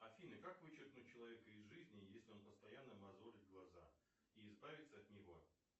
афина как вычеркнуть человека из жизни если он постоянно мозолит глаза и избавится от него